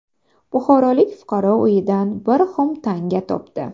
Buxorolik fuqaro uyidan bir xum tanga topdi .